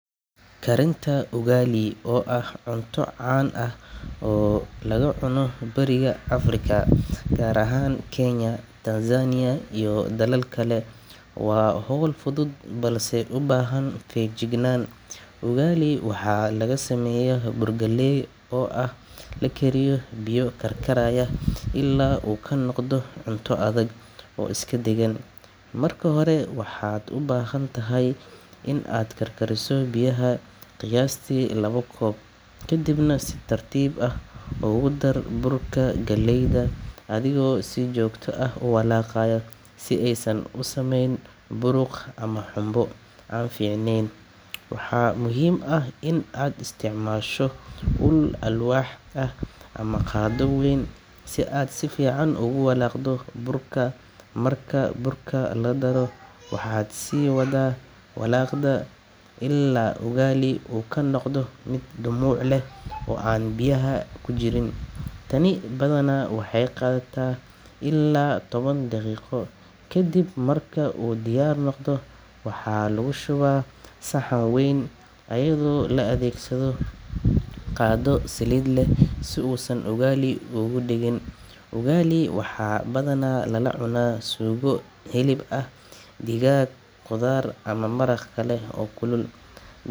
Karinta ugali, oo ah cunto caan ah oo laga cuno Bariga Afrika, gaar ahaan Kenya, Tanzania iyo dalal kale, waa hawl fudud balse u baahan feejignaan. Ugali waxaa laga sameeyaa bur galley ah oo lagu kariyo biyo karkaraya ilaa uu ka noqdo cunto adag oo isku dheggan. Marka hore, waxaad u baahan tahay in aad karkariso biyo, qiyaastii laba koob, kadibna si tartiib ah ugu dar burka galleyda adigoo si joogto ah u walaaqaya si aysan u samayn buruq ama xumbo aan fiicneyn. Waxaa muhiim ah in aad isticmaasho ul alwaax ah ama qaaddo weyn si aad si fiican ugu walaaqdo burka. Marka burka la daro, waxaad sii wadaa walaaqidda ilaa ugali uu ka noqdo mid dhumuc leh oo aan biyaha ku jirin. Tani badanaa waxay qaadataa ilaa toban daqiiqo. Kadib marka uu diyaar noqdo, waxaa lagu shubaa saxan wayn iyadoo loo adeegsado qaaddo saliid leh si uusan ugu dhegin. Ugali waxaa badanaa lala cunaa suugo hilib ah, digaag, khudaar ama maraq kale oo kulul.